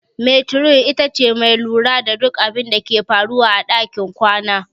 Metiron ita ce mai lura da duk abinda ke faruwa a ɗakin kwana.